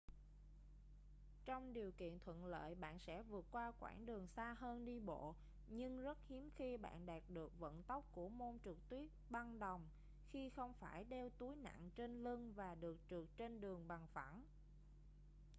trong điều kiện thuận lợi bạn sẽ vượt qua quãng đường xa hơn đi bộ nhưng rất hiếm khi bạn đạt được vận tốc của môn trượt tuyết băng đồng khi không phải đeo túi nặng trên lưng và được trượt trên đường bằng phẳng